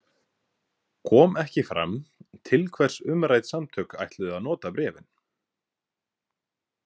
Kom ekki fram til hvers umrædd samtök ætluðu að nota bréfin.